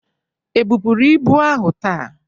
E bụpuru ibu ahụ taa?